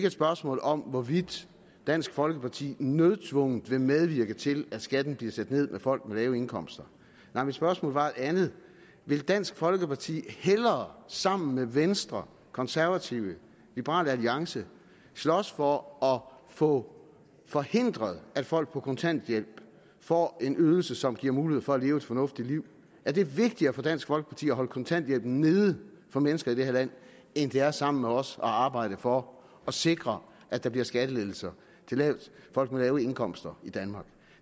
at spørgsmål om hvorvidt dansk folkeparti nødtvungent vil medvirke til at skatten bliver sat ned for folk med lave indkomster nej mit spørgsmål var et andet vil dansk folkeparti hellere sammen med venstre konservative og liberal alliance slås for at få forhindret at folk på kontanthjælp får en ydelse som giver mulighed for at leve et fornuftigt liv er det vigtigere for dansk folkeparti at holde kontanthjælpen nede for mennesker i det her land end det er sammen med os at arbejde for at sikre at der bliver skattelettelser til folk med lave indkomster i danmark